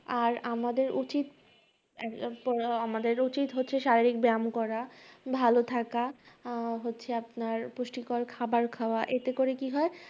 আর আমাদের উচিৎ এর আমাদের উচিৎ হচ্ছে শারীরিক ব্যায়াম করা, ভালো থাকা, আহ হচ্ছে আপনার পুষ্টিকর খাবার খাওয়া। এতে করে কি হয়